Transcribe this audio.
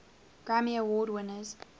grammy award winners